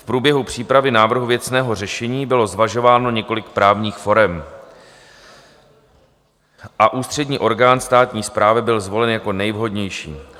V průběhu přípravy návrhu věcného řešení bylo zvažováno několik právních forem a ústřední orgán správní správy byl zvolen jako nejvhodnější.